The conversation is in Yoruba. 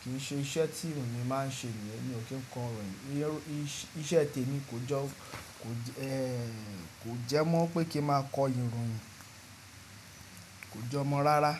Kì í ṣe iṣẹ́ tí èmi máa ń ṣe nìyẹn. Mi ò kí ń kọ ìròyìn. Iṣẹ́ tèmi kò jẹ́ mọ́ pé kí n máa kọ ìròyìn. Kò jọmọ́ rárá.